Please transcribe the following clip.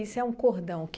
Isso é um cordão.